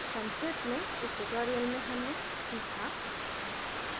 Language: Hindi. संक्षेप में इस tutorial में हमने सीखा